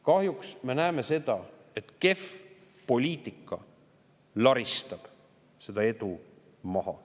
Kahjuks me näeme seda, et kehv poliitika laristab selle edu maha.